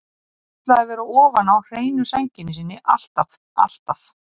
Hann ætlaði að vera ofan á hreinu sænginni sinni alltaf, alltaf.